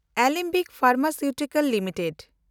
Alembic pharmaceutical limited